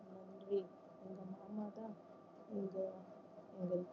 நன்றி எங்க மாமா தான் எங்க அவங்களுக்கு